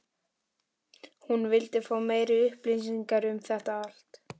hún vildi fá meiri upplýsingar um þetta allt.